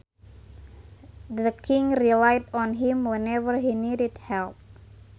The king relied on him whenever he needed help